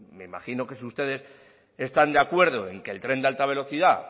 me imagino que si ustedes están de acuerdo en que el tren de alta velocidad